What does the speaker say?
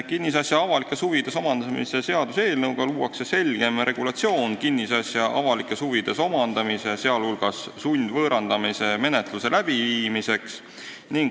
Kinnisasja avalikes huvides omandamise seaduse eelnõu eesmärk on luua selgem regulatsioon kinnisasja avalikes huvides omandamise, sh sundvõõrandamise menetluse läbiviimiseks.